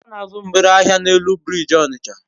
ona azu mgbere ahia n'elu biriji Onitsha